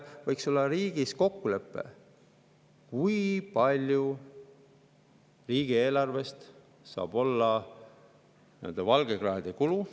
Võiks olla riigis kokkulepe, kui palju riigieelarvest saab olla nii-öelda valgekraede kulu.